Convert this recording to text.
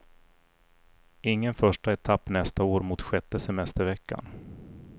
Ingen första etapp nästa år mot sjätte semesterveckan.